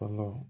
Kɔnɔ